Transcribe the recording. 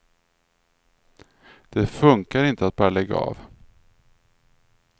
Det funkar inte att bara lägga av.